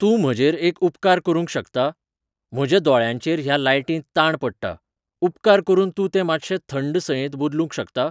तूं म्हजेर एक उपकार करूंक शकता? म्हज्या दोळ्यांचेर ह्या लायटींत ताण पडटा. उपकार करून तूं ते मात्शे थंड सयेंत बदलूंक शकता?